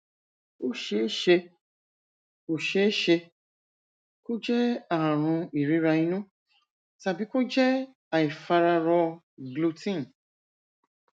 ó ṣeé ṣe kó ṣeé ṣe kó jẹ ààrùn ìríra inú tàbí kó jẹ àìfararọ gluten